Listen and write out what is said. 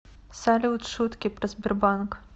салют шутки про сбербанк